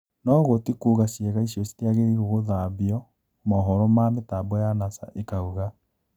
Noguo tikuga ciĩga icio citiagĩrĩirwo gũthambio," Moohoro ma mĩtambo ya Nasa ĩkauga .